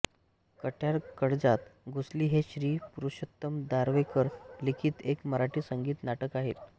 कट्यार काळजात घुसली हे श्री पुरुषोत्तम दारव्हेकर लिखित एक मराठी संगीत नाटक आहे